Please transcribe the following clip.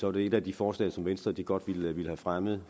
er det et af de forslag som venstre godt ville have fremmet